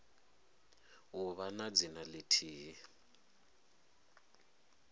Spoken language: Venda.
u vha na dzina lithihi